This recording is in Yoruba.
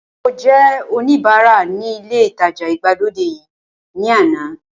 Mo jẹ́ oníbara ní ilé ìtajà ìgbàlódé yìí ní àná